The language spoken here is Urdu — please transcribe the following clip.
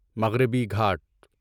مغربی گھاٹ